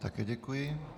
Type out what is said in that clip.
Také děkuji.